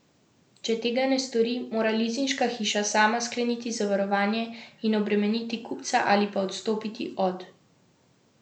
Če tega ne stori, mora lizinška hiša sama skleniti zavarovanje in obremeniti kupca ali pa odstopiti od pogodbe.